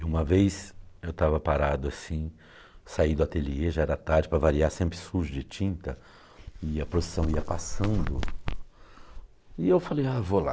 E uma vez eu estava parado assim, saí do ateliê, já era tarde, para variar, sempre sujo de tinta, e a procissão ia passando, e eu falei, ah, vou lá.